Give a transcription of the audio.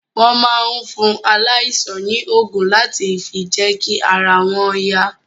Wọ́n máa ń fún aláìsàn ní ògùn láti fi jẹ́kí ara wọn yá